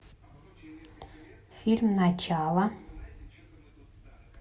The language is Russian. фильм начало